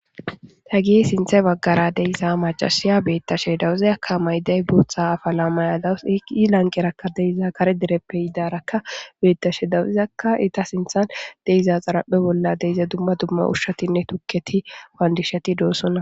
Ta gie sinthe baggara deyissa macasiya beettashe dawuzeyakka mayday burtha afala may7adawus eqi lanqerakka deiza kare dereppe yidarakka beettashe dawuzakka ita sinthan deiza xarapphe bolla deiza dumma dumma ushshatinne tukketi waandishati doosonna.